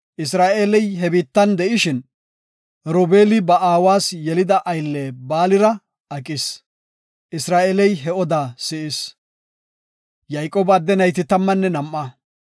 Isra7eeley he biittan de7ishin, Robeeli ba aawas yelida aylle Baalira aqis. Isra7eeley he odaa si7is. Yayqooba adde nayti tammanne nam7a.